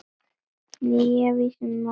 Nýja vísan var svona